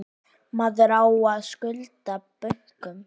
Maður á að skulda bönkum.